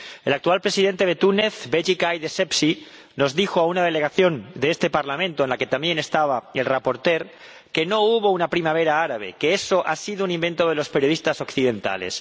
El actual presidente de Túnez, Béji Caïd Essebsi, nos dijo a una delegación de este Parlamento —en la que también estaba el ponente— que no hubo una Primavera Árabe, que eso ha sido un invento de los periodistas occidentales.